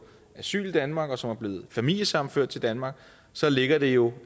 asyl i danmark og som er blevet familiesammenført til danmark så ligger det jo